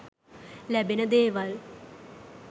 ලැබෙන දේවල්.